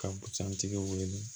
Ka busan tigi wele